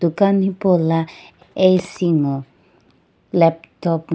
dukan hipaula AC ngo laptop.